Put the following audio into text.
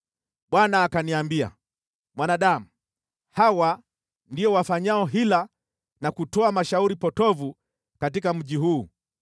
Bwana akaniambia, “Mwanadamu, hawa ndio wafanyao hila na kutoa mashauri potovu katika mji huu.